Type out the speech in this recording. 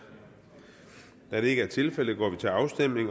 da det ikke er tilfældet går vi til afstemning